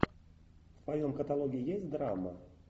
в твоем каталоге есть драма